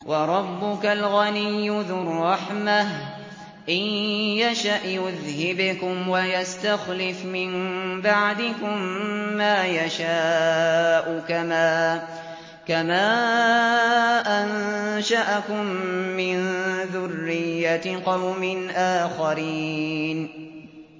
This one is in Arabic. وَرَبُّكَ الْغَنِيُّ ذُو الرَّحْمَةِ ۚ إِن يَشَأْ يُذْهِبْكُمْ وَيَسْتَخْلِفْ مِن بَعْدِكُم مَّا يَشَاءُ كَمَا أَنشَأَكُم مِّن ذُرِّيَّةِ قَوْمٍ آخَرِينَ